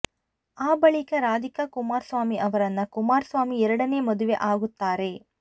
ಆ ಬಳಿಕ ರಾಧಿಕಾ ಕುಮಾರಸ್ವಾಮಿ ಅವರನ್ನ ಕುಮಾರಸ್ವಾಮಿ ಎರಡನೇ ಮದುವೆ ಆಗುತ್ತಾರೆ